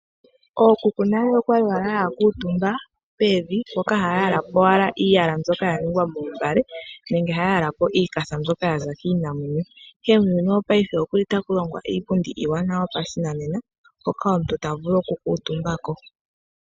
Ookuku nale okwali wala hakuutumba pevi mpoka haya yalapo owala iiyala mbyoka ya ningwa meembale nenge haya yalapo iikatha mbyoka yaza kiinamwenyo, ndele muuyuni wopaife okuli taku longwa iipundi iiwanawa yopashinanena hoka omuntu tavulu oku kuutumbako.